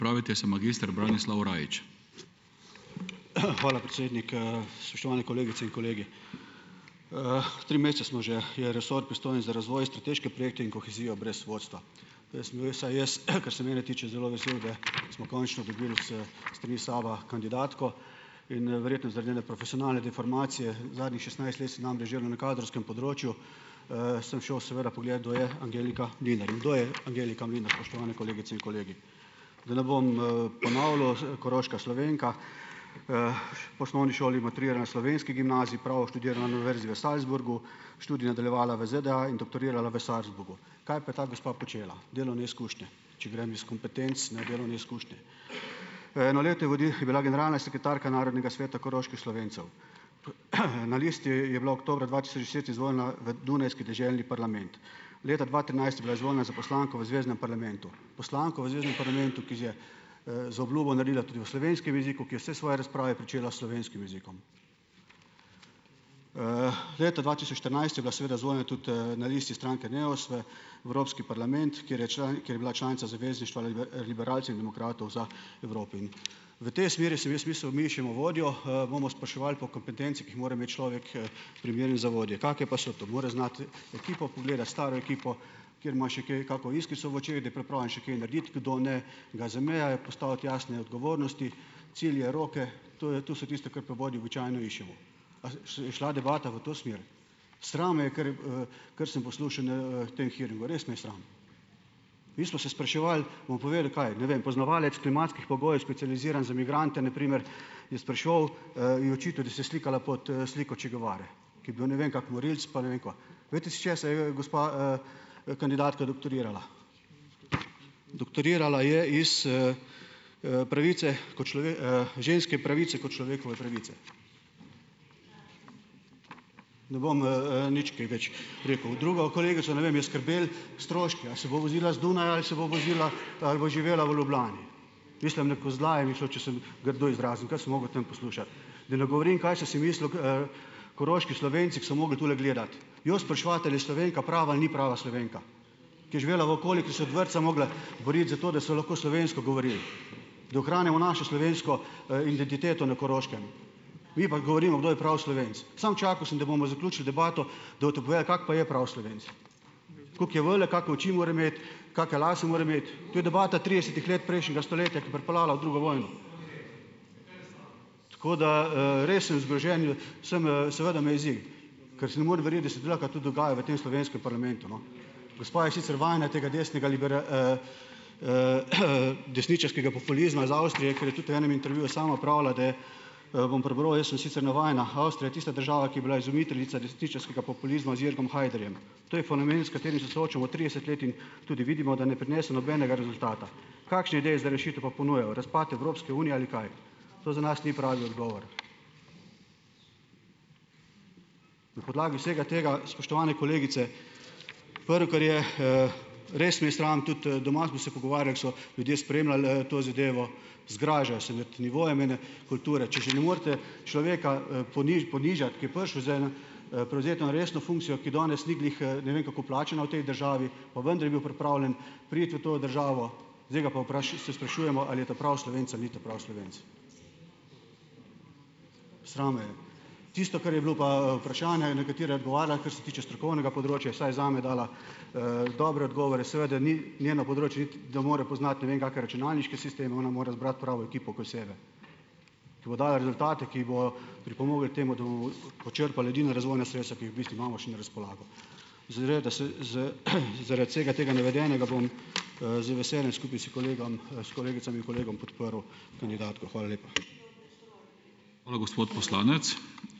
Hvala, predsednik, Spoštovane kolegice in kolegi. Tri mesece smo, že je resor, pristojen za razvoj, strateške projekte in kohezijo, brez vodstva. sem bil saj jaz, kar se mene tiče, zelo vesel, da smo končno dobil s strani SAB-a kandidatko. In verjetno zaradi njene profesionalne deformacije, zadnjih šestnajst let sem namreč delal na kadrovskem področju, sem šel seveda pogledat, kdo je Angelika Mlinar. In kdo je Angelika Mlinar, spoštovane kolegice in kolegi? Da ne bom, ponavljal. Koroška Slovenka. V osnovni šoli maturirala na slovenski gimnaziji, pravo študirala na univerzi v Salzburgu , študij je nadaljevala v ZDA in doktorirala v Salzburgu. Kaj pa je ta gospa počela? Delovne izkušnje, če grem iz kompetenc, ne, delovne izkušnje, Eno leto je je bila generalna sekretarka Narodnega sveta koroških Slovencev. Na listi je bila oktobra dva tisoč deset izvoljena v dunajski deželni parlament. Leta dva trinajst je bila izvoljena za poslanko v zveznem parlamentu poslanko v zveznem parlamentu, ki je, zaobljubo naredila tudi v slovenskem jeziku, ki je vse svoje razprave pričela s slovenskim jezikom. Leta dva tisoč štirinajst je bila seveda izvoljena tudi, na listi stranke Neos, v Evropski parlament, kjer je je bila članica Zavezništva liberalcev in demokratov za Europin. V tej smeri sem jaz mislil, mi iščemo vodjo, bomo spraševali po kompetencah, ki jih mora imeti človek, primeren za vodjo. Kake pa so to? Mora znati ekipo pogledati, staro ekipo, ker ima še kaj kako iskrico v očeh, da je pripravljen še kaj narediti, kdo ne, ga zamenjati, postaviti jasne odgovornosti, cilje, roke, to je, to so tiste, kar pri vodji običajno iščemo. A je šla debata v to smer? Sram me je, ker, kar sem poslušal na tem hearingu, res me je sram. Mi smo se spraševali, bom povedal, kaj ... Ne vem, poznavalec klimatskih pogojev, specializiran za migrante, na primer, je spraševal, ji je očital, da se je slikala pod, sliko Cheja Guevare, ki je bil ne vem kak morilec, pa ne vem kaj. Glejte si, iz česa je, gospa, kandidatka doktorirala. Doktorirala je iz, pravice kot ženske pravice, kot človekove pravice. Ne bom, nič kaj več rekel. Drugo kolegico, ne vem, je skrbelo, stroški, a se bo vozila z Dunaja ali se bo vozila ali bo živela v Ljubljani? Mislim, na kozlanje mi je šlo, če se bom grdo izrazil, ker sem mogel o tem poslušati. Da ne govorim, kaj sem si mislil, koroški Slovenci, ki so mogli tule gledati. Njo spraševati, ali je Slovenka prava ali ni prava Slovenka, ki je živela v okolju, ki se od vrtca mogla boriti za to, da so lahko slovensko govorili, da ohranjamo našo slovensko, identiteto na Koroškem, mi pa govorimo, kdo je pravi Slovenec. Samo čakal sem, da bomo zaključili debato, da boste povedali, kak pa je pravi Slovenec, koliko je velik, kake oči mora imeti, kake lase mora imeti ... To je debata tridesetih let prejšnjega stoletja, ki je pripeljala v drugo vojno. Tako da, res sem zgrožen, sem, seveda me jezi, ker s ne morem verjeti, da se tudi lahko to dogaja v tem slovenskem parlamentu, no. Gospa je sicer vajena tega desnega desničarskega populizma iz Avstrije, ker je tudi v enem intervjuju sama pravila, da, bom prebral: "Jaz sem sicer navajena, Avstrija je tista država, ki je bila izumiteljica desničarskega populizma z Jorgom Haiderjem. To je fenomen, s katerim se soočamo trideset let in tudi vidimo, da ne prinese nobenega rezultata. Kakšne ideje za rešitev pa ponujajo? Razpad Evropske unije ali kaj? To za nas ni pravi odgovor." Na podlagi vsega tega, spoštovane kolegice, prvo, kar je, res me je sram, tudi, doma smo se pogovarjali, ke so ljudje spremljali, to zadevo, zgražajo se nad nivojem ene kulture. Če že ne morete človeka, ponižat, ki je prišel z eno, prevzeti eno resno funkcijo, ki danes ni glih, ne vem kako plačana v tej državi, pa vendar je bil pripravljen priti v to državo, zdaj ga pa, se sprašujemo, ali je ta pravi Slovenec ali ni ta pravi Slovenec? Sram me je. Tisto, kar je bilo pa, vprašanja, na katera je odgovarjala, kar se tiče strokovnega področja, je vsaj zame dala dobre odgovore, seveda ni, njeno področje, niti da mora poznati ne vem kakšne računalniške sisteme, ona mora zbrati pravo ekipo okoli sebe, ki bo dajala rezultate, ki bojo pripomogli k temu, da bo počrpal edina razvojna sredstva, ki jih v bistvu imamo še na razpolago. zaradi vsega tega navedenega, bom, z veseljem skupaj s s kolegicami in kolegom podprl kandidatko. Hvala lepa.